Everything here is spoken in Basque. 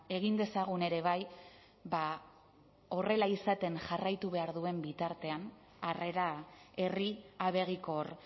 egin dezagun ere bai ba horrela izaten jarraitu behar duen bitartean harrera herri abegikor